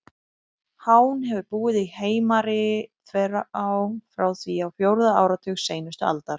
Hán hefur búið í Heimari-þverá frá því á fjórða áratug seinustu aldar.